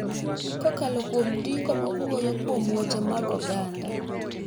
Kokalo kuom ndiko ma wuoyo kuom weche mag oganda,